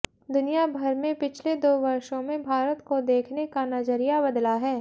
दुनिया भर में पिछले दो वर्षो में भारत को देखने का नजरिया बदला है